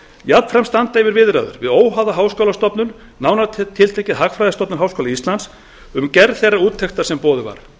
jafnframt standa yfir viðræður við óháða háskólastofnun nánar tiltekið hagfræðistofnun háskóla íslands um gerð þeirrar úttektar sem boðuð var